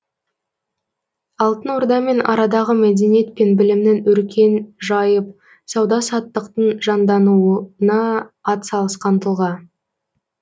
алтын ордамен арадағы мәдениет пен білімнің өркен жайып сауда саттықтың жандануына атсалысқан тұлға